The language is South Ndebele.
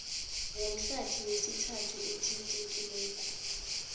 womhlathi wesithathu athintekileko